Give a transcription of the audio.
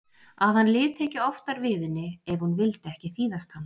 Að hann liti ekki oftar við henni ef hún vildi ekki þýðast hann.